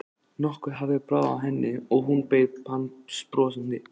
Nokkuð hafði bráð af henni og hún beið hans brosandi.